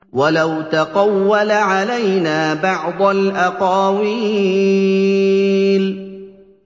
وَلَوْ تَقَوَّلَ عَلَيْنَا بَعْضَ الْأَقَاوِيلِ